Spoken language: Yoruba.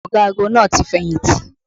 Ọ̀gagun náà ti fẹ̀yìntì